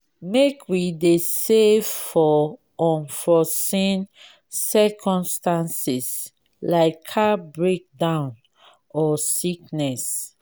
make we dey save for unforeseen circumstances like car breakdown or sickness.